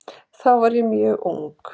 Þá var ég mjög ung.